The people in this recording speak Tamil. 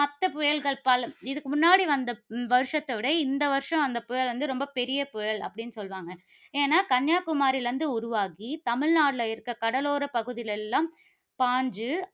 மற்ற புயல்கள் பல, இதற்கு முன்னாடி வந்த வருஷத்தை விட, இந்த வருஷம் வந்த புயல் வந்து ரொம்ப பெரிய புயல் அப்படின்னு சொல்லுவாங்க. ஏன்னா கன்னியாகுமரியிலிருந்து உருவாகி, தமிழ்நாட்டில இருக்கிற கடலோர பகுதிகள்ல எல்லாம் பாய்ந்து